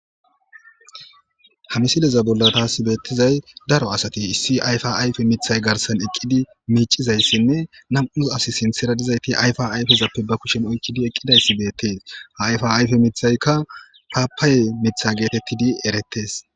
Ha misileza bolla taasi beettizay daro asati issi ayfa ayfe miiththay garsan eqqidi miicizayssinne nam'us as sinththera dizayti ayfa ayfezappe ba kushen oykkidi eqqidayssi beettees hayfa ayfe miiththaykka paapaaye miiththa geetettidi erettees